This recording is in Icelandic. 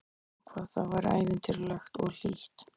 Hvað það var ævintýralegt og hlýtt.